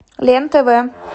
лен тв